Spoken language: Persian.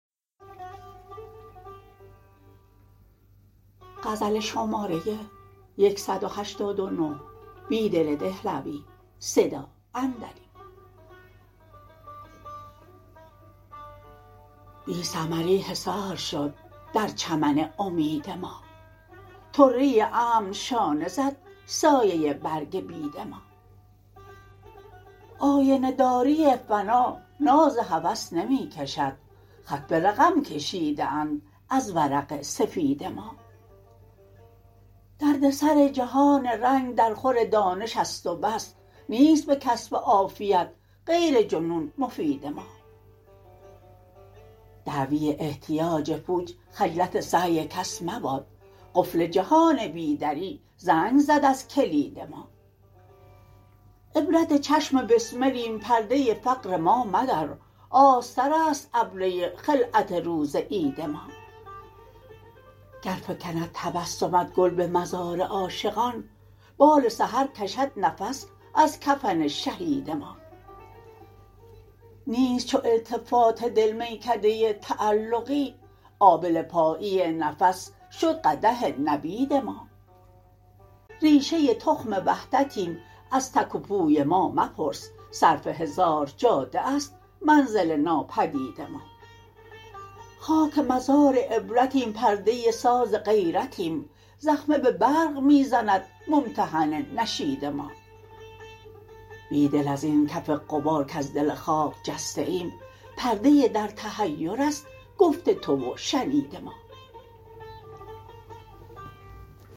بی ثمری حصار شد در چمن امید ما طره امن شانه زد سایه برگ بید ما آینه داری فنا ناز هوس نمی کشد خط به رقم کشیده اند از ورق سفید ما دردسر جهان رنگ درخور دانش است و بس نیست به کسب عافیت غیرجنون مفید ما دعوی احتیاج پوچ خجلت سعی کس مباد قفل جهان بی دری زنگ زد ازکلید ما عبرت چشم بسملیم پرده فقر ما مدر آستر است ابره خلعت روز عید ما گر فکند تبسمت گل به مزار عاشقان بال سحرکشد نفس ازکفن شهید ما نیست چو التفات دل میکده تعلقی آبله پایی نفس شد قدح نبید ما ربشه تخم وحدتیم از تک وپوی مامپرس صرف هزار جاده است منزل ناپدید ما خاک مزار عبرتیم پرده ساز غیرتیم زخمه به برق می زند ممتحن نشید ما بیدل ازین کف غبارکز دل خاک جسته ایم پرده در تحیر است گفت تو و شنید ما